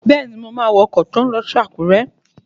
Bẹ́ẹ̀ni, mo máa wọ ọkọ̀ tó n lọ sí Àkúrẹ́